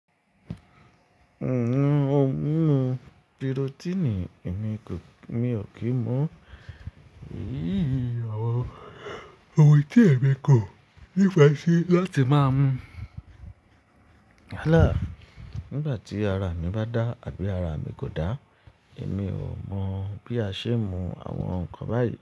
N ò ń mu pirotíìnì, èmi kò, mi o kíí mu-ún. Iyíì, àwọn ohun ti èmi kò nífẹ̀ẹ́ sí láti máa mu. Nígbàtí ara mi bá dá àbí ara mi kò dá, èmi ò mọ bí a ṣe ń mu àwọn nǹkan nkan báyìí.